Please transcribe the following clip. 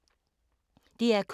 DR K